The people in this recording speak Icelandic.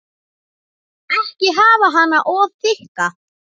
Ekki hafa hana of þykka.